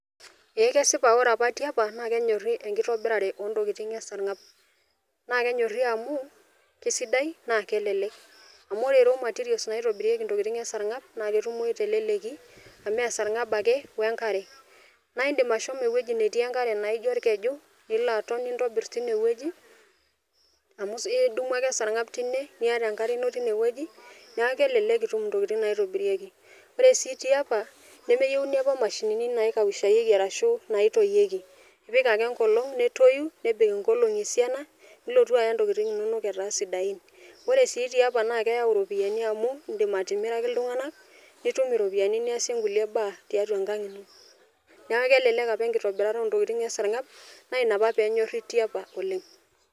Ee kesipa ore apa tiapa naa kenyori enkitobirare ontokitin esarngab . Naa kenyori amu kisidai naa kelelek , amu ore raw materials naitobirieki ntokitin esargab naa ketumoyu teleleki amu esarngab ake wenkare. Naa indim ashomo ewueji netii enkare naijo orkeju, nilo aton , nintobir tine wueji amu idumu ake esarngab tine , niata enkare ino tine wueji , niaku kelelek oleng itum intokitin naitobirieki. Ore sii tiapa , nemeyieuni apa mashinini naikaushieki ashu naitoyieki , ipik ake enkolong netoyu , nebik inkolongi esiana , nilotu aya ntokitin inonok etaa sidain . Ore sii tiapa naa keyau iropiyiani amu indim atimiraki iltunganak , nitum iropiyiani niasie nkulie baa tiatua enkang ino . Niaku kelelek apa enkitobirata oontokitin esarngab naa inapa penyori tiapa oleng.